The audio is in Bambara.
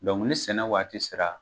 ni sɛnɛ waati sera